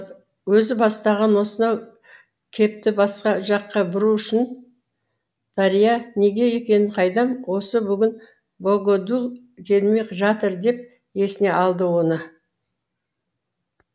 өзі бастаған осынау кепті басқа жаққа бұру үшін дарья неге екенін қайдам осы бүгін богодул келмей жатыр деп есіне алды оны